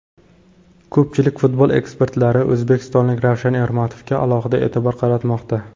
Ko‘pchilik futbol ekspertlari o‘zbekistonlik Ravshan Ermatovga alohida e’tibor qaratmoqda.